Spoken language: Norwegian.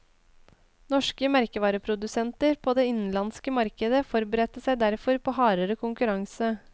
Norske merkevareprodusenter på det innenlandske markedet forberedte seg derfor på hardere konkurranse.